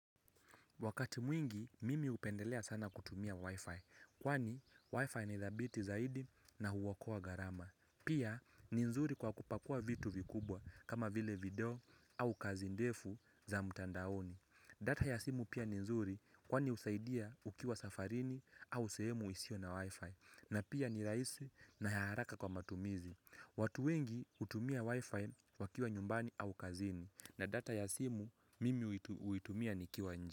Wakati mwingi, mimi hupendelea sana kutumia Wi-Fi, kwani Wi-Fi nithabiti zaidi na huokoa gharama. Pia, ni nzuri kwa kupakua vitu vikubwa kama vile video au kazi ndefu za mtandaoni. Data ya simu pia ni nzuri kwani usaidia ukiwa safarini au sehemu isio na Wi-Fi. Na pia ni rahisi na ya haraka kwa matumizi. Watu wengi, hutumia Wi-Fi wakiwa nyumbani au kazini. Na data ya simu, mimi huitumia nikiwa nje.